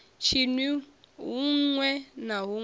tshinwi huṋwe na huṋwe sa